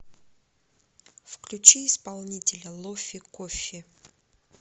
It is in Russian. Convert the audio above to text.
включи исполнителя лофи коффи